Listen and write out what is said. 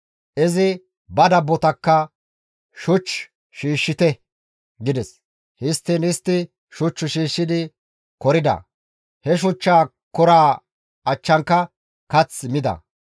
Izi ba dabbotakka, «Shuch shiishshite» gides; histtiin istti shuch shiishshidi korida; he shuchcha koraa achchanka kath mida.